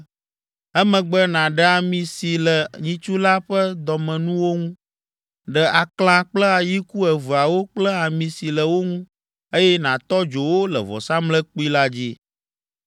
Emegbe nàɖe ami si le nyitsu la ƒe dɔmenuwo ŋu. Ɖe aklã kple ayiku eveawo kple ami si le wo ŋu, eye nàtɔ dzo wo le vɔsamlekpui la dzi.